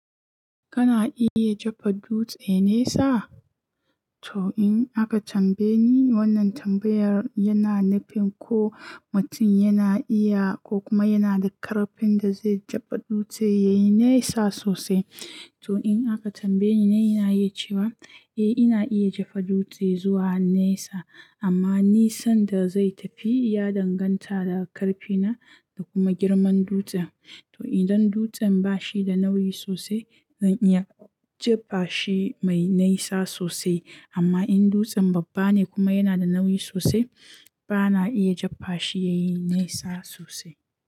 Kana iya jefar dutse nesa? To in aka tambaye ni wannan tambayar yana nufin ko mutum yana iya ko kuma yana da ƙarfin da zai jefa dutse ya yi nesa sosai. To in aka tambaye ni, na yi cewa eh ina iya jefa dutse zuwa nesa amma nisan da zai tafi ya danganta da ƙarfina da kuma girman dutsen. To idan dutsen ba shi da nauyi sosai, zan iya jefa shi mai nesa sosai amma in dutsen babba ne kuma yana da nauyi sosai, ba na iya jefa shi ya yi nesa sosai.